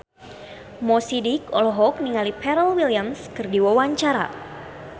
Mo Sidik olohok ningali Pharrell Williams keur diwawancara